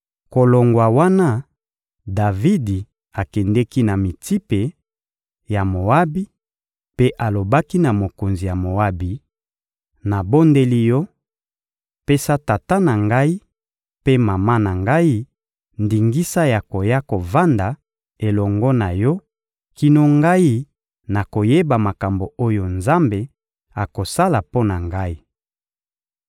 Kolongwa wana, Davidi akendeki na Mitsipe ya Moabi mpe alobaki na mokonzi ya Moabi: «Nabondeli yo: Pesa tata na ngai mpe mama na ngai ndingisa ya koya kovanda elongo na yo kino ngai nakoyeba makambo oyo Nzambe akosala mpo na ngai.»